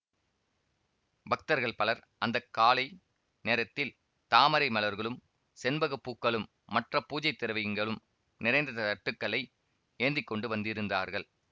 பக்தர்கள் பலர் அந்த காலை நேரத்தில் தாமரை மலர்களும் செண்பக பூக்களும் மற்ற பூஜைத் திரவியங்களும் நிறைந்த தட்டுக்களை ஏந்தி கொண்டு வந்திருந்தார்கள்